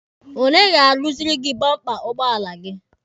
Onye ga-aruziri gị bọmpa ụgbọala gị?